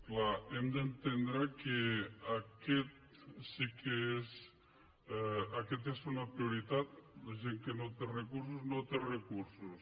clar hem d’entendre que aquesta és una prioritat la gent que no té recursos no té recursos